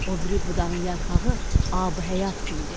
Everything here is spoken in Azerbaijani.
O biri budağın yarpağı abihəyat kimidir.